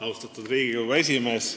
Austatud Riigikogu esimees!